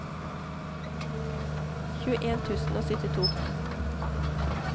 tjueen tusen og syttito